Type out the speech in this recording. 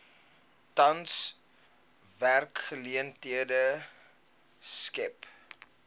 tans werksgeleenthede skep